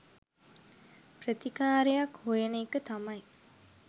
ප්‍රතිකාරයක් හොයන එක තමයි